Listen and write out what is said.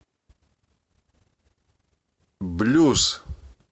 блюз